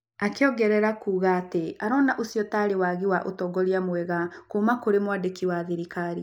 Akĩongerera kuuga atĩ arona ũcio ta waagi wa ũtongoria mwega kuuma kũrĩ mwandĩki wa thirikari.